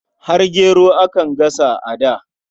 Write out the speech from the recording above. Har gero akan gasa a da.